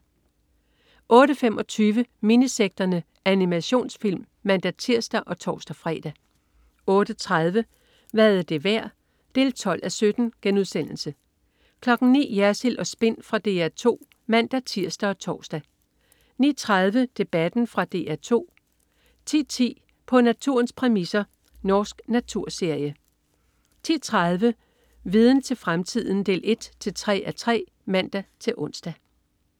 08.25 Minisekterne. Animationsfilm (man-tirs og tors-fre) 08.30 Hvad er det værd? 12:17* 09.00 Jersild & Spin. Fra DR 2 (man-tirs og tors) 09.30 Debatten. Fra DR 2 10.10 På naturens præmisser. Norsk naturserie 10.30 Viden til fremtiden 1-3:3 (man-ons)